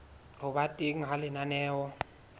ho ba teng ha lenaneo